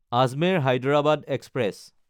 আজমেৰ–হায়দৰাবাদ express